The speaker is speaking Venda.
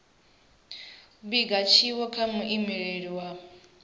vhiga tshiwo kha muimeleli wa